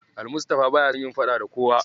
Almustapha baya son yin faɗa da kowa.